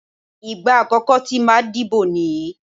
Ìgbà àkọ́kọ́ tí màá dìbò nìyí.